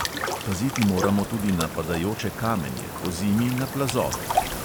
Paziti moramo tudi na padajoče kamenje, pozimi na plazove.